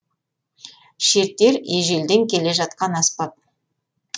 шертер ежелден келе жатқан аспап